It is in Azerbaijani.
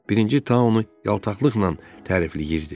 Birinci Tao onu yaltaqlıqla tərifləyirdi.